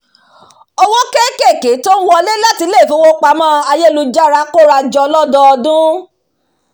owó kéékèèké tó ń wọlé láti ilé ifowópamọ́ ayélujára kóra jọ lọdọọdun